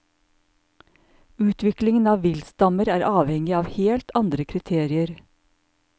Utviklingen av viltstammer er avhengig av helt andre kriterier.